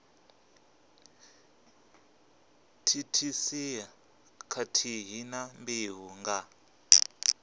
thithisea khathihi na mbeu nga